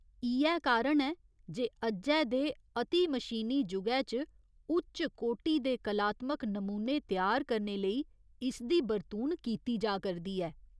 इ'यै कारण ऐ जे अज्जै दे अतिमशीनी जुगै च उच्चकोटि दे कलात्मक नमूने त्यार करने लेई इसदी बरतून कीती जा करदी ऐ।